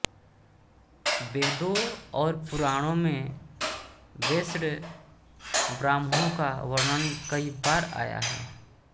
वेदों और पुराणों में वैष्णवब्राह्मणों का वर्णन कई बार आया है